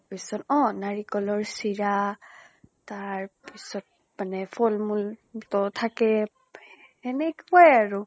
তাৰ পিছত অ নাৰিকলৰ চিৰা, তাৰ পিছত মানে ফল মূল ত থাকেই এনেকুৱাই আৰু।